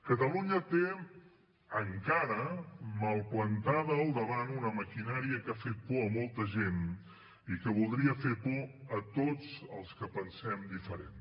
catalunya té encara mal plantada al davant una maquinària que ha fet por a molta gent i que voldria fer por a tots els que pensem diferent